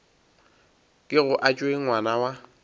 kego a tšwe ngwana wa